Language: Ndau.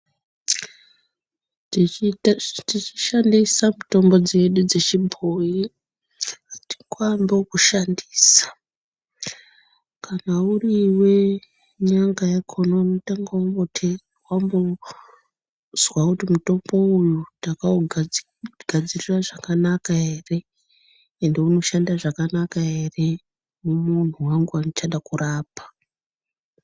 Tichishandisa mutombo dzedu dzechibhoyi, atingoambi ngekushandisa kana uriwe nyanga yakhona unotanga wambozwa kuti mutombo uyu ndakaugadzirira zvakanaka ere, ende unoshanda zvakanaka ere mumuntu wangu wandichada kurapa.